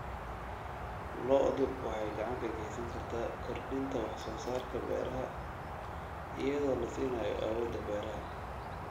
Lo'du waxay gacan ka geysan kartaa kordhinta wax soo saarka beeraha iyadoo la siinayo awoodda beeraha.